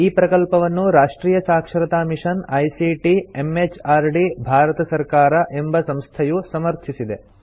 ಈ ಪ್ರಕಲ್ಪವನ್ನು ರಾಷ್ಟ್ರಿಯ ಸಾಕ್ಷರತಾ ಮಿಷನ್ ಐಸಿಟಿ ಎಂಎಚಆರ್ಡಿ ಭಾರತ ಸರ್ಕಾರ ಎಂಬ ಸಂಸ್ಥೆಯು ಸಮರ್ಥಿಸಿದೆ